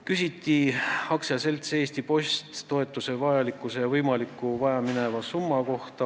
Küsiti aktsiaseltsi Eesti Post toetuse vajalikkuse ja võimaliku vajamineva summa kohta.